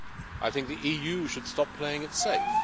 I think the EU should stop playing it safe.